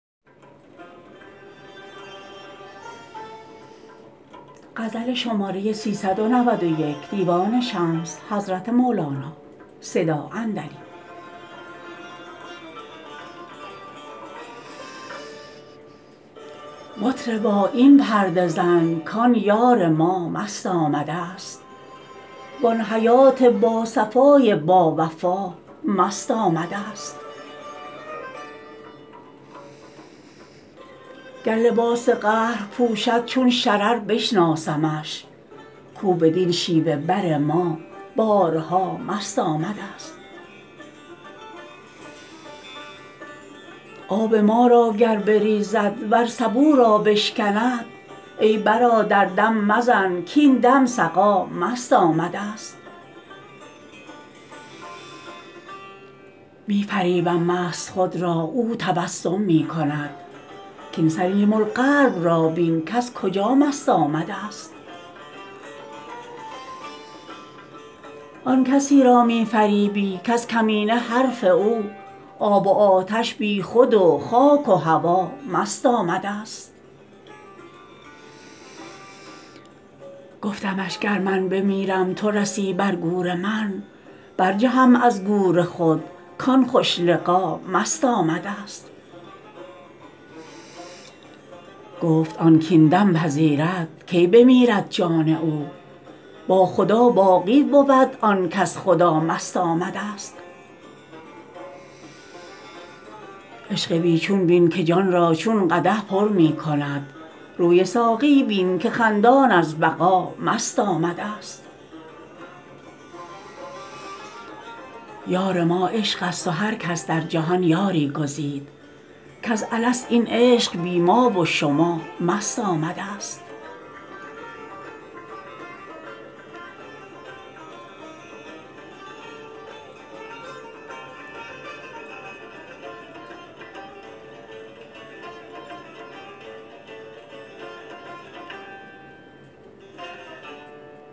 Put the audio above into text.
مطربا این پرده زن کان یار ما مست آمدست وان حیات باصفای باوفا مست آمدست گر لباس قهر پوشد چون شرر بشناسمش کو بدین شیوه بر ما بارها مست آمدست آب ما را گر بریزد ور سبو را بشکند ای برادر دم مزن کاین دم سقا مست آمدست می فریبم مست خود را او تبسم می کند کاین سلیم القلب را بین کز کجا مست آمدست آن کسی را می فریبی کز کمینه حرف او آب و آتش بیخود و خاک و هوا مست آمدست گفتمش گر من بمیرم تو رسی بر گور من برجهم از گور خود کان خوش لقا مست آمدست گفت آن کاین دم پذیرد کی بمیرد جان او با خدا باقی بود آن کز خدا مست آمدست عشق بی چون بین که جان را چون قدح پر می کند روی ساقی بین که خندان از بقا مست آمدست یار ما عشق است و هر کس در جهان یاری گزید کز الست این عشق بی ما و شما مست آمدست